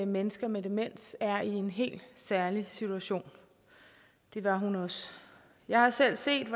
mennesker med demens er i en helt særlig situation det var hun også jeg har selv set